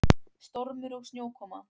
Stormur og snjókoma.